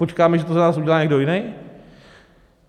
Počkáme, že to za nás udělá někdo jiný?